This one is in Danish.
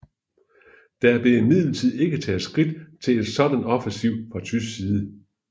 Der blev imidlertid ikke taget skridt til en sådan offensiv fra tysk side